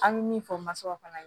An bɛ min fɔ masaw fana ye